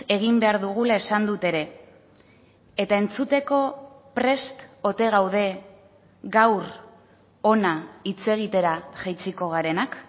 egin behar dugula esan dut ere eta entzuteko prest ote gaude gaur hona hitz egitera jaitsiko garenak